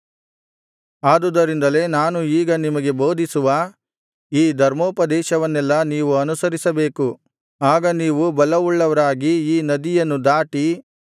ಆದುದರಿಂದಲೇ ನಾನು ಈಗ ನಿಮಗೆ ಬೋಧಿಸುವ ಈ ಧರ್ಮೋಪದೇಶವನ್ನೆಲ್ಲಾ ನೀವು ಅನುಸರಿಸಬೇಕು ಆಗ ನೀವು ಬಲವುಳ್ಳವರಾಗಿ ಈ ನದಿಯನ್ನು ದಾಟಿ ಆಚೆಯಿರುವ